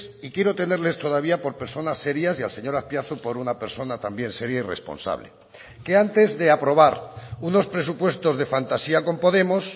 y quiero tenerles todavía por personas serias y al señor azpiazu por una persona también seria y responsable que antes de aprobar unos presupuestos de fantasía con podemos